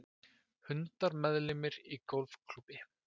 Hundar meðlimir í golfklúbbi